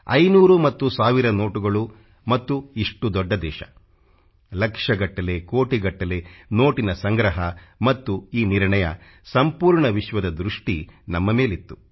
500 ಮತ್ತು 1 ಸಾವಿರ ನೋಟುಗಳು ಮತ್ತು ಇಷ್ಟು ದೊಡ್ಡ ದೇಶ ಲಕ್ಷಗಟ್ಟಲೆ ಕೋಟಿಗಟ್ಟಲೆ ನೋಟಿನ ಸಂಗ್ರಹ ಮತ್ತು ಈ ನಿರ್ಣಯ ಸಂಪೂರ್ಣ ವಿಶ್ವದ ದೃಷ್ಟಿ ನಮ್ಮ ಮೇಲಿತ್ತು